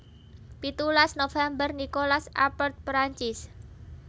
Pitulas november Nicolas Appert Perancis